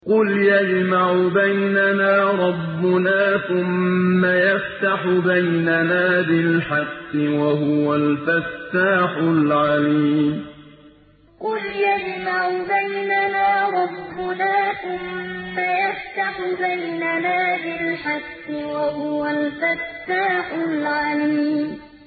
قُلْ يَجْمَعُ بَيْنَنَا رَبُّنَا ثُمَّ يَفْتَحُ بَيْنَنَا بِالْحَقِّ وَهُوَ الْفَتَّاحُ الْعَلِيمُ قُلْ يَجْمَعُ بَيْنَنَا رَبُّنَا ثُمَّ يَفْتَحُ بَيْنَنَا بِالْحَقِّ وَهُوَ الْفَتَّاحُ الْعَلِيمُ